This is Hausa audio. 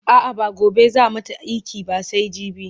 a'a ba gobe zaa mata iki ba sai jibi